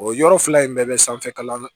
O yɔrɔ fila in bɛɛ bɛ sanfɛkalan